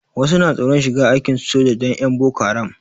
Wasu na tsoron shiga aikin soja dan 'yan boko haram.